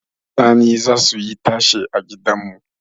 Sani zasu yi tashe a gidanmu